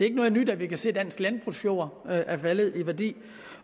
ikke noget nyt at vi kan se at dansk landbrugsjord er faldet i værdi